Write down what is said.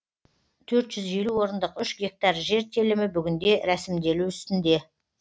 төрт жүз елу орындық үш гектар жер телімі бүгінде рәсімделу үстінде